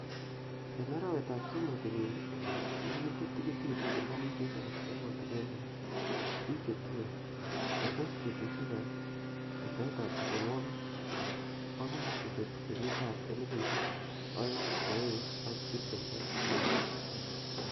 En arawetab somok kenyini, kokiinde tigitik serkalisiek ab emotinwekab bik che tuen, ketes betusiek ab wektaetab besenwogik bokoi kobegu kenyitab elfusiek o'engu ak tibtem ak agenge.